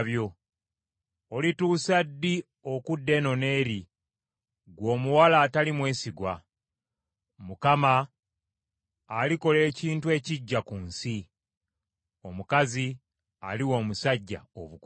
Olituusa ddi okudda eno n’eri, ggwe omuwala atali mwesigwa? Mukama alikola ekintu ekiggya ku nsi, omukazi aliwa omusajja obukuumi.”